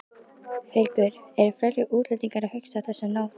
Haukur: Eru fleiri útlendingar að hugsa á þessum nótum?